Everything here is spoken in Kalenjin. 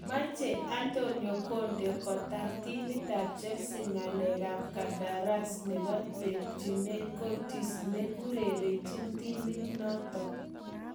Meche Antonio conte kotar timitap chelsea ng'alek ap kandarass nebo Tibautcourtois ne urerenchin timitnotok